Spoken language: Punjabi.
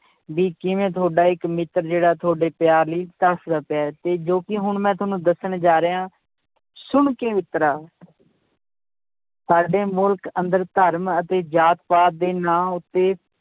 ਵੀ ਕਿਵੇਂ ਤੁਹਾਡਾ ਇੱਕ ਮਿੱਤਰ ਜਿਹੜਾ ਤੁਹਾਡੇ ਪਿਆਰ ਲਈ ਤਰਸਦਾ ਪਿਆ ਹੈ ਤੇ ਜੋ ਕਿ ਹੁਣ ਮੈਂ ਤੁਹਾਨੂੰ ਦੱਸਣ ਜਾ ਰਿਹਾਂ ਸੁਣ ਕੇ ਮਿੱਤਰਾ ਸਾਡੇ ਮੁਲਕ ਅੰਦਰ ਧਰਮ ਅਤੇ ਜਾਤ ਪਾਤ ਦੇ ਨਾਂ ਉੱਤੇ